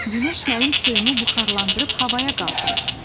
Günəş mənim suyumu buxarlandırıb havaya qaldırır.